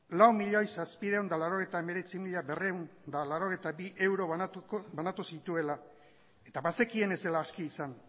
lau milioi zazpiehun eta laurogeita hemeretzi mila berrehun eta laurogeita bi euro banatu zituela eta bazekien ez zela aski izan